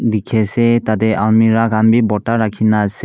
dekhi ase tate almera khan bhi bota rakho ase.